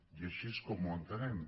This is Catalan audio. i així és com ho entenem